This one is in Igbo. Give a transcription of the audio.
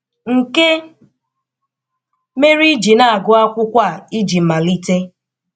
Nke mere iji na-agụ akwụkwọ a iji malite.